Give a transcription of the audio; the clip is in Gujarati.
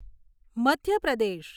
મધ્ય પ્રદેશ